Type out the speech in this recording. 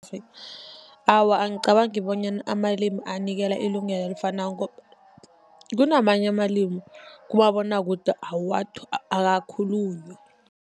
Awa, angicabangi bonyana amalimi anikelwa ilungelo elifanako . Kunamanye amalimi kumabonwakude akakhulunywa.